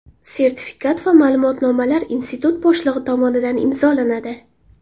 Sertifikat va ma’lumotnomalar institut boshlig‘i tomonidan imzolanadi.